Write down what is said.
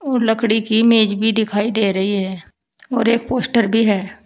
और लकड़ी की मेज भी दिखाई दे रही है और एक पोस्टर भी है।